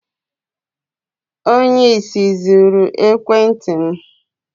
Onye ìsì zuru ekwentị m